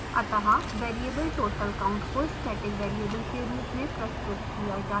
अत: variable total count को static variable के रूप में प्रस्तुत किया जा सकता है